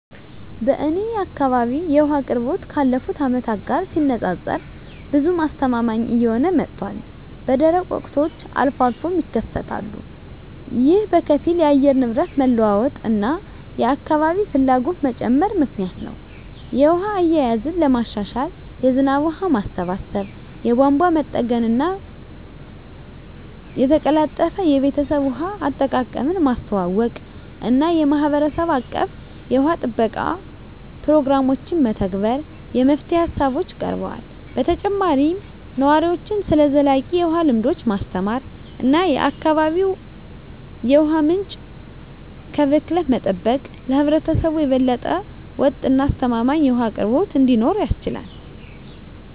በእኔ አካባቢ የውሃ አቅርቦት ካለፉት አመታት ጋር ሲነፃፀር ብዙም አስተማማኝ እየሆነ መጥቷል፣ በደረቅ ወቅቶች አልፎ አልፎም ይከሰታሉ። ይህ በከፊል የአየር ንብረት መለዋወጥ እና የአካባቢ ፍላጎት መጨመር ምክንያት ነው. የውሃ አያያዝን ለማሻሻል የዝናብ ውሃ ማሰባሰብ፣ የቧንቧ መጠገንና መጠገን፣ የተቀላጠፈ የቤተሰብ ውሃ አጠቃቀምን ማስተዋወቅ እና የማህበረሰብ አቀፍ የውሃ ጥበቃ ፕሮግራሞችን መተግበር የመፍትሄ ሃሳቦች ቀርበዋል። በተጨማሪም ነዋሪዎችን ስለ ዘላቂ የውሃ ልምዶች ማስተማር እና የአካባቢ የውሃ ምንጮችን ከብክለት መጠበቅ ለህብረተሰቡ የበለጠ ወጥ እና አስተማማኝ የውሃ አቅርቦት እንዲኖር ያስችላል።